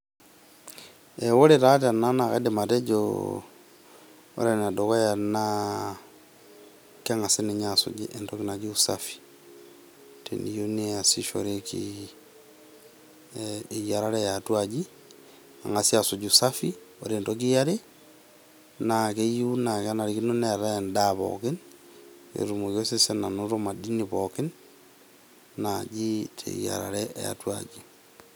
Ee ore taa tenaa naa kaidim atejo ore ene dukuya naa kengasi asuj entoki naji usafi teneyieu neasishoreki eyiarata eaji , nengasi asuj usafi .Ore entoki eare naa keyieu naa kenarikino neetae endaa pookin petum osesen anoto madini pookin naji teyiarare eatua aji.